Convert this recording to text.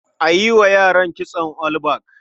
A yi wa yaran kitson all back.